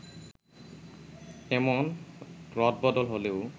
এমন রদবদল হলেও